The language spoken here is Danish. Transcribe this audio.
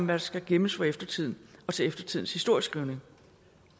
der skal gemmes for eftertiden og til eftertidens historieskrivning